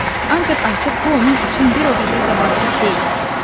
Ancaq artıq bu onun üçün bir o qədər də vacib deyildi.